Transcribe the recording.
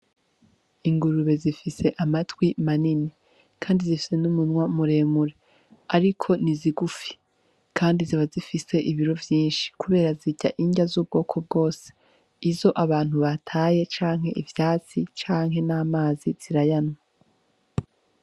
Ingurube zifise amatwi manini kandi zifise n'umunwa muremure ariko ni zigufi kandi zikaba zifise ibiro vyinshi kubera zirya inrya z'ubwoko bwose , izo abantu bataye canke ivyatsi, canke n'amazi zirayanywa.